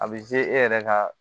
A bɛ e yɛrɛ ka